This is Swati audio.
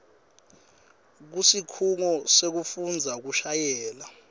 kusikhungo sekufundzela kushayela